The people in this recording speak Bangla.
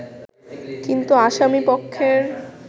কিন্তু আসামী পক্ষের